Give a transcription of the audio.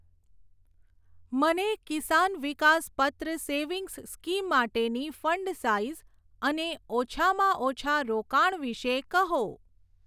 મને Kisan Vikas Patra savings scheme માટેની fund size અને ઓછામાં ઓછા રોકાણ વિષે કહો.